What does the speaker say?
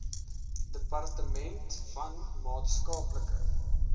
departement van maatskaplike